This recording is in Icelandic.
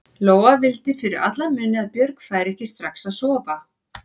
Lóa vildi fyrir alla muni að Björg færi ekki strax að sofa.